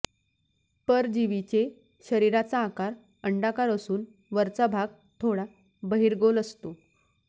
परजीवीचे शरीराचा आकार अंडाकार असून वरचा भाग थोडा बहिर्गोल असतो